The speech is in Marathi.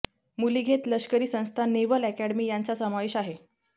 मुली घेत लष्करी संस्था नेव्हल अकॅडेमी यांचा समावेश आहे